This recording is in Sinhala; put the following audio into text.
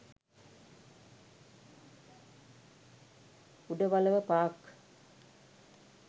udawalawa park